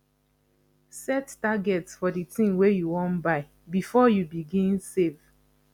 set target for di thing wey you wan buy before you begin save